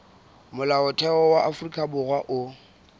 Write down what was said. molaotheo wa afrika borwa o